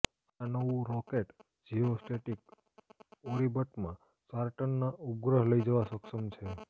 આ નવું rocket geo static ઓર્િબટમાં ચાર ટનના ઉપગ્રહ લઇ જવા સક્ષમ છે